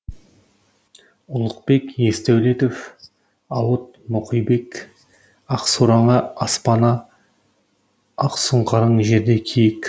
ұлықбек есдәулетов ауыт мұқибек ақсораң аспана ақсұңқарың жерде киік